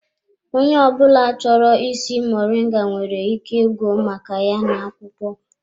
Onye ọ bụla chọrọ ịsị moringa nwere ike ịgụ maka ya n'akwụkwọ.